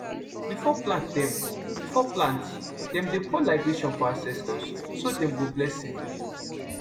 before plant dem before plant dem dey pour libation for ancestors so dem go bless season